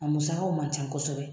A musakaw ma ca kosɛbɛ.